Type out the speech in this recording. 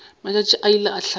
matšatši a ile a hlaba